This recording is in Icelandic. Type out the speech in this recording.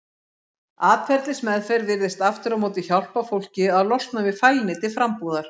Atferlismeðferð virðist aftur á móti hjálpa fólki að losna við fælni til frambúðar.